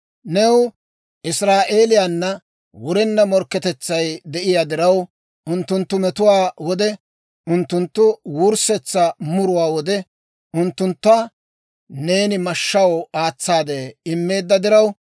« ‹New Israa'eeliyaana wurenna morkketetsay de'iyaa diraw, unttunttu metuwaa wode, unttunttu wurssetsa muruwaa wode, unttuntta neeni mashshaw aatsaade immeedda diraw,